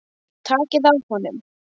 Á hann að gera það?